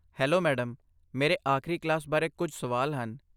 Hello madam, ਮੇਰੇ ਆਖਰੀ class ਬਾਰੇ ਕੁਝ ਸਵਾਲ ਹਨ।